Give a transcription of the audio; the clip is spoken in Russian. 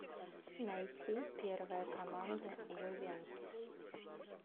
найти первая команда ювентус